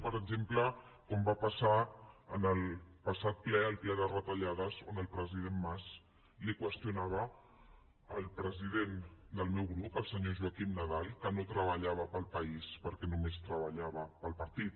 per exemple com va passar en el passat ple el ple de retallades on el president mas li qüestionava al president del meu grup al senyor joaquim nadal que no treballava per al país perquè només treballava per al partit